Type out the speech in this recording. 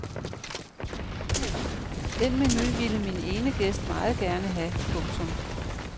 Den menu ville min ene gæst meget gerne have. punktum